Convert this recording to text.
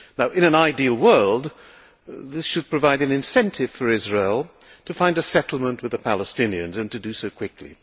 In an ideal world, this should provide an incentive for Israel to find a settlement with the Palestinians and to do so quickly.